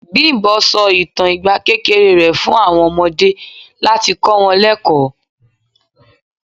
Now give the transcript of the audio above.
Bimbo sọ ìtàn ìgbà kékeré rẹ̀ fún àwọn ọmọdé láti kọ wọn lekoo.